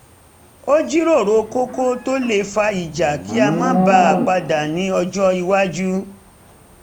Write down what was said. a jíròrò kókó tó le fa ìjà kí a má bà a padà ní ọjọ́ iwájú